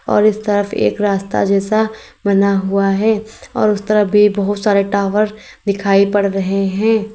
और इस तरफ एक रास्ता जैसा बना हुआ है और उस तरफ भी बहोत सारे टावर दिखाई पड़ रहे है।